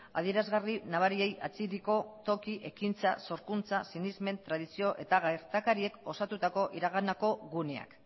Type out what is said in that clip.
adierazgarri nabariei atxikiko toki ekintza sorkuntza sinesmen tradizio eta gertakariek osatutako iraganeko guneak